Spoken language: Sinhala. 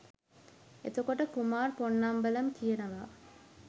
එතකොට කුමාර් පොන්නම්බලම් කියනවා